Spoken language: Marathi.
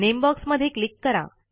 नेमबॉक्स मधे क्लिक करा